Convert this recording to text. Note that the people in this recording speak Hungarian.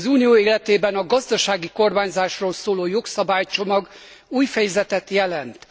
Az Unió életében a gazdasági kormányzásról szóló jogszabálycsomag új fejezetet jelent.